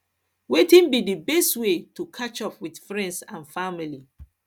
wetin be di best way to catch up with friends and family